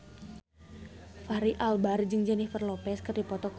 Fachri Albar jeung Jennifer Lopez keur dipoto ku wartawan